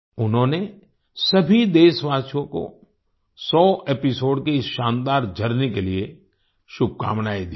उन्होंने सभी देशवासियों को सौ एपिसोड्स 100th एपिसोड्स की इस शानदार जर्नी के लिये शुभकामनायें दी हैं